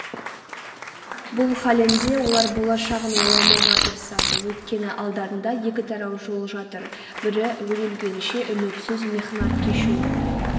бұл халінде олар болашағын ойламауға тырысады өйткені алдарында екі тарау жол жатыр бірі өле-өлгенше үмітсіз мехнат кешу